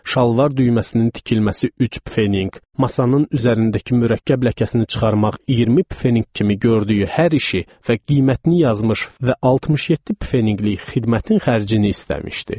Şalvar düyməsinin tikilməsi üç pfeninq, masanın üzərindəki mürəkkəb ləkəsini çıxarmaq 20 pfeninq kimi gördüyü hər işi və qiymətini yazmış və 67 pfeninqlik xidmətin xərcini istəmişdi.